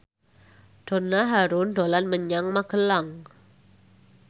Donna Harun dolan menyang Magelang